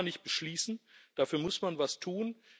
Das kann man nicht beschließen, dafür muss man etwas tun.